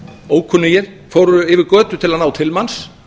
ókunnugir fóru yfir götu til að ná til manns